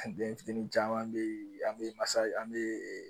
Den fitini caman bɛ ye an bɛ masa an bɛ